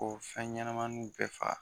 Ko fɛn ɲɛnamaniw bɛɛ faga.